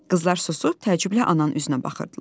Qızlar susub təəccüblə ananın üzünə baxırdılar.